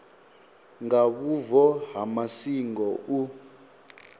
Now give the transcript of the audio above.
nga vhubvo ha masingo u